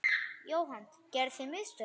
Jóhann: Gerðuð þið mistök?